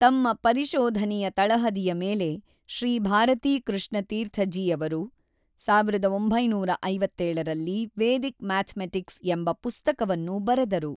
ತಮ್ಮ ಪರಿಶೊಧನೆಯ ತಳಹದಿಯ ಮೇಲೆ ಶ್ರೀ ಭಾರತೀ ಕೃಷ್ಣ ತೀರ್ಥಜಿಯವರು ೧೯೫೭ ರಲ್ಲಿ ವೇದಿಕ್ ಮ್ಯಾಥಮೆಟಿಕ್ಸ್ ಎಂಬ ಪುಸ್ತಕವನ್ನು ಬರೆದರು.